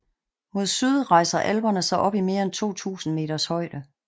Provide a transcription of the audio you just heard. Mod syd rejser Alperne sig op i mere end 2000 meters højde